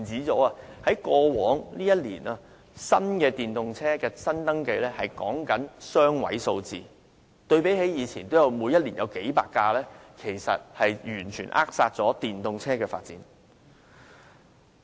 在過往一年，電動車新登記只有雙位數字，相比以前每年也有數百輛，是完全扼殺了電動車發展。